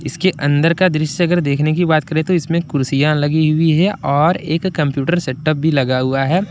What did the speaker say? इसके अंदर का दृश्य देखने की बात करे तो इसमें कुर्सियां लगी हुई है और एक कंप्यूटर सेटअप भी लगा हुआ है।